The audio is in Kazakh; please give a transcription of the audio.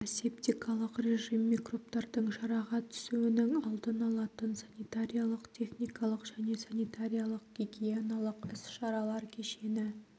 асептикалық режим микробтардың жараға түсуінің алдын алатын санитариялық-техникалық және санитариялық-гигиеналық іс-шаралар кешені